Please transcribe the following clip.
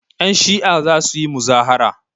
Yanshi'a za su yi muzahara.